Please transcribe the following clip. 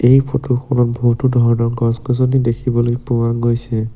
এই ফটো খনত বহুতো ধৰণৰ গছ গছনি দেখিবলৈ পোৱা গৈছে।